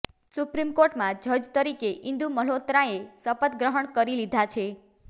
supreme કોર્ટમાં જજ તરીકે ઈન્દુ મલ્હોત્રાએ શપથ ગ્રહણ કરી લીધા છે